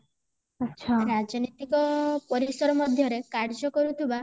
ରାଜନୀତିକ ପରିସର ମଧ୍ୟରେ କାର୍ଯ୍ୟ କରୁଥିବା